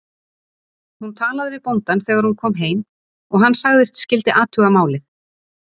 Hún talaði við bóndann þegar hún kom heim og hann sagðist skyldi athuga málið.